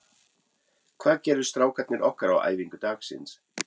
Hvað gerðu strákarnir okkar á æfingu dagsins?